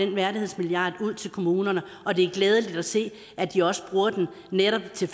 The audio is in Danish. den værdighedsmilliard ud til kommunerne og det er glædeligt at se at de også bruger den netop til